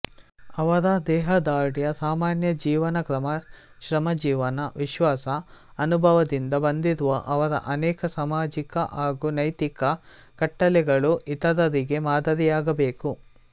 ಅವರ ದೇಹದಾರ್ಢ್ಯ ಸಾಮಾನ್ಯಜೀವನಕ್ರಮ ಶ್ರಮಜೀವನ ವಿಶ್ವಾಸ ಅನುಭವದಿಂದ ಬಂದಿರುವ ಅವರ ಅನೇಕ ಸಾಮಾಜಿಕ ಹಾಗೂ ನೈತಿಕ ಕಟ್ಟಳೆಗಳು ಇತರರಿಗೆ ಮಾದರಿಯಾಗಬೇಕು